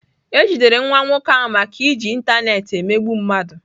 E jidere nwa nwoke ahụ maka iji ịntanetị emegbu mmadụ.